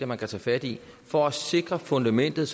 man kan tage fat i for at sikre fundamentet